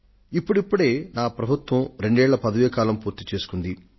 ఇప్పుడిప్పుడే నా ప్రభుత్వం రెండేళ్ల పదవీ కాలం పూర్తి చేసుకుంది